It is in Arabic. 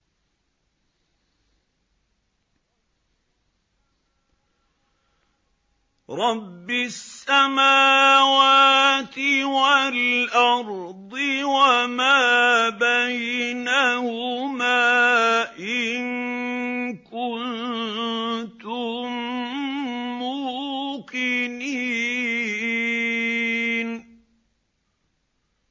رَبِّ السَّمَاوَاتِ وَالْأَرْضِ وَمَا بَيْنَهُمَا ۖ إِن كُنتُم مُّوقِنِينَ